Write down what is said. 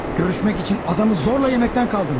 Görüşmək üçün adamı zorla yeməkdən qaldırmış.